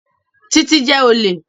Títí is a thief